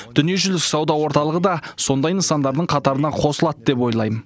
дүниежүзілік сауда орталығы да сондай нысандардың қатарына қосылады деп ойлаймын